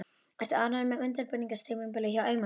Ertu ánægður með undirbúningstímabilið hjá Eyjamönnum?